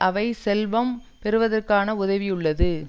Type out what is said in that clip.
அவை செல்வம் பெறுவதற்குதான் உதவியுள்ளது